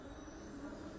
Hıhı.